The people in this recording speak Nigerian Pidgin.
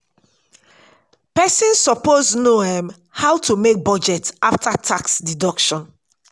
person suppose know um how to make budget after tax deduction